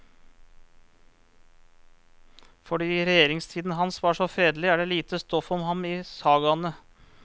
Fordi regjeringstiden hans var så fredelig, er det lite stoff om ham i sagaene.